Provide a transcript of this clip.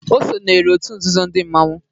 O sonyeere òtù nzuzo ndị mmanwu.